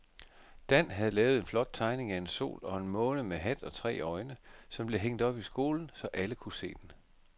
Dan havde lavet en flot tegning af en sol og en måne med hat og tre øjne, som blev hængt op i skolen, så alle kunne se den.